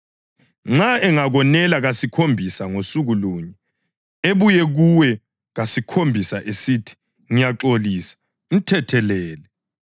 Nxa engakonela kasikhombisa ngosuku lunye, ebuye kuwe kasikhombisa esithi, ‘Ngiyaxolisa,’ mthethelele.”